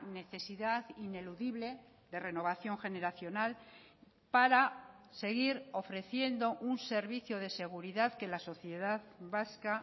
necesidad ineludible de renovación generacional para seguir ofreciendo un servicio de seguridad que la sociedad vasca